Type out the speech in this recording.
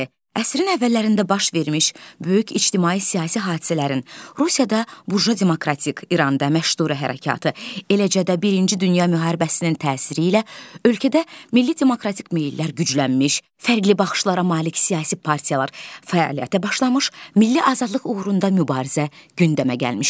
Əsrin əvvəllərində baş vermiş böyük ictimai siyasi hadisələrin, Rusiyada buja demokratik, İranda məşrutə hərəkatı, eləcə də Birinci Dünya müharibəsinin təsiri ilə ölkədə milli demokratik meyllər güclənmiş, fərqli baxışlara malik siyasi partiyalar fəaliyyətə başlamış, milli azadlıq uğrunda mübarizə gündəmə gəlmişdi.